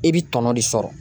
I bi tɔnɔ de sɔrɔ